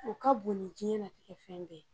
O ka bon ni diɲɛnatigɛ fɛn bɛɛ la